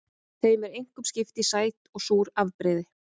Þeim er einkum skipt í sæt og súr afbrigði.